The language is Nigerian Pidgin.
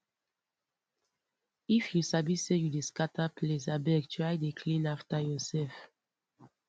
if you sabi say you dey scatter place abeg try dey clean after yourself